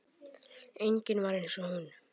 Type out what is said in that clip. Engin var eins og hún.